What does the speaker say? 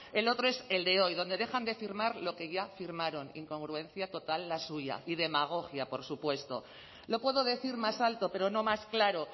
el otro es el de hoy donde dejan de firmar lo ya que firmaron incongruencia total la suya y demagogia por supuesto lo puedo decir más alto pero no más claro